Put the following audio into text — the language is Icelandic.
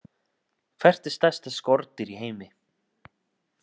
Hvert er stærsta skordýr í heimi?